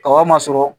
Kaba ma sɔrɔ